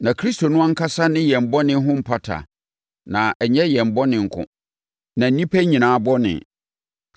Na Kristo no ankasa ne yɛn bɔne ho mpata na ɛnyɛ yɛn bɔne nko, na nnipa nyinaa bɔne.